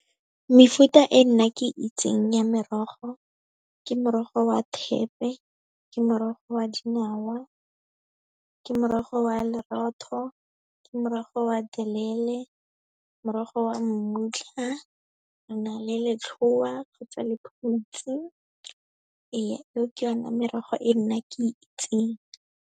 Mefuta e nna ke itseng ya merogo, ke morogo wa thepe, ke morogo wa dinawa, ke morogo wa lerotho, ke morogo wa thelele, morogo wa mmutla, re na le letlhoa kgotsa lephutsi. Ee, eo ke ona merogo e nna ke itseng.